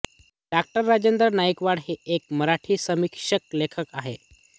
डाॅ राजेंद्र नाईकवाडे हे एक मराठी समीक्षक लेखक आहेत